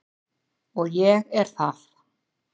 Og ég er það.